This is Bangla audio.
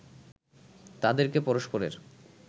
তাদেরকে পরস্পরের